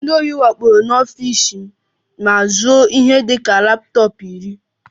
Ndị ohi wakporo n'ọfịs m ma zuo ihe dị ka laptọọpụ iri